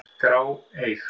grá, eig.